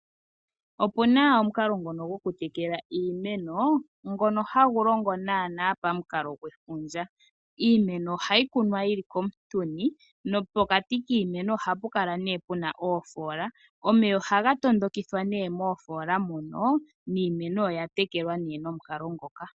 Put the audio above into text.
Opuna omukalo ngono goku tekela iimeno, ngono hagu longo naanaa pamukalo gwefundja. Iimeno ohayi kunwa yi li koontuni, nopokati kiimeno oha pu kala nee pu na oofoola. Omeya ohaga tondokithwa moofoola moka, yo niimeno oya tekelwa nee nomukalo ngoka.